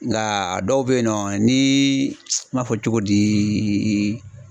Nka dɔw bɛ ye nɔ ni n m'a fɔ cogo di